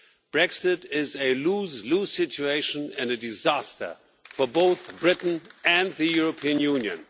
Brexit is a lose lose situation and a disaster for both Britain and the European Union.